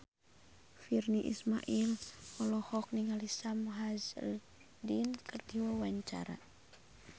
Virnie Ismail olohok ningali Sam Hazeldine keur diwawancara